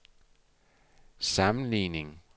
sammenligning